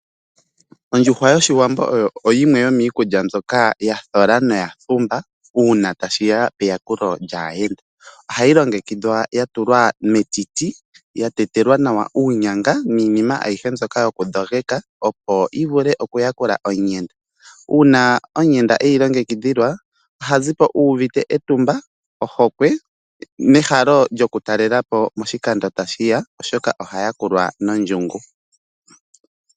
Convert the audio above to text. Ondjuhwa yOshiwambo yimwe yomiikulya mbyoka ya thola naya pumba uuna tashi ya peyakulo lyaayenda. Ohayi longekidhwa ya tulwa metiti ya tetelwa nawa uunyanga niinima ayihe mbyoka yokudhogeka, opo yi vule okuyakula omuyenda. Uuna omuyenda e yi longekidhilwa, oha zi po uuvite etumba, ohokwe nehalo lyokutalela po moshikando tashi landula, oshoka oha yakulwa nondjungu.